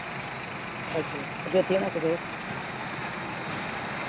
ਅੱਛਾ ਹੋਰ ਜੋਤੀ ਹੁਣ ਕੋਲ ਗਏ